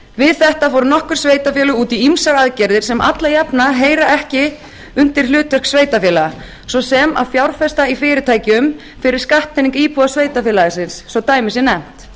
við þetta fór nokkur sveitarfélög út í ýmsar aðgerðir sem alla jafna heyra ekki undir hlutverk sveitarfélaga svo sem að fjárfesta í fyrirtækjum fyrir skattpening íbúa sveitarfélaga sinna svo dæmi